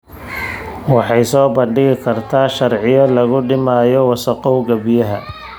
Waxay soo bandhigi kartaa sharciyo lagu dhimayo wasakhowga biyaha.